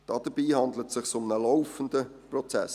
Dabei handelt es sich um einen laufenden Prozess.